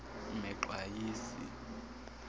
mexwayisi